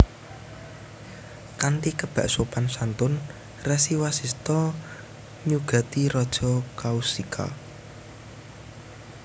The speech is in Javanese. Kanthi kebak sopan santun Resi Wasista nyugati Raja Kaushika